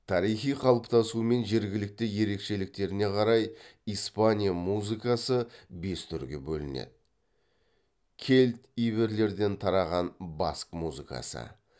тарихи қалыптасуы мен жергілікті ерекшеліктеріне қарай испания музыкасы бес түрге бөлінеді кельт иберлерден тараған баск музыкасы